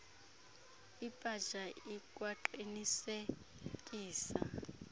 ipaja ikwaqinise kisa